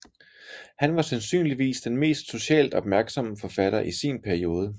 Han var sandsynligvis den mest socialt opmærksomme forfatter i sin periode